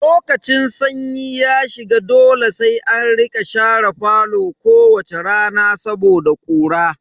Lokacin sanyi ya shiga dole sai an rika share falo kowace rana saboda ƙura.